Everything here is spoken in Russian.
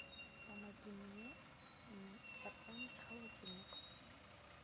помоги мне заполнить холодильник